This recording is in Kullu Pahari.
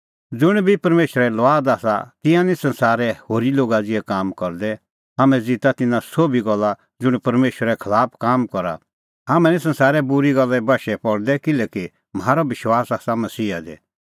ज़ुंण बी परमेशरे लुआद आसा तिंयां निं संसारे होरी लोगा ज़िहै काम करदै हाम्हैं ज़िता तिन्नां सोभी गल्ला का ज़ुंण परमेशरे खलाफ काम करा हाम्हैं निं संसारे बूरी गल्ले बशै पल़दै किल्हैकि म्हारअ विश्वास आसा मसीहा दी